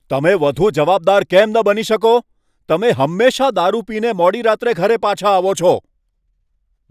તમે વધુ જવાબદાર કેમ ન બની શકો? તમે હંમેશાં દારૂ પીને મોડી રાત્રે ઘરે પાછા આવો છો.